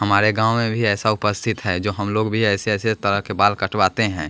हमारे गांव में भी ऐसा उपस्थित है जो हम लोग भी ऐसे ऐसे तरह के बाल कटवाते हैं।